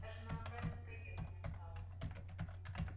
даже на обратный проезд не осталось